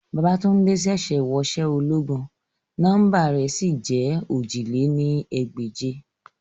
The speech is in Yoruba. Babatunde ṣẹ̀ṣẹ̀ wọṣẹ́ ológun, nọmba rẹ̀ sì jẹ́ ojì lé ní ẹgbẹ́je